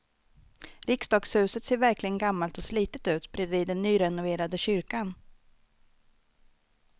Riksdagshuset ser verkligen gammalt och slitet ut bredvid den nyrenoverade kyrkan.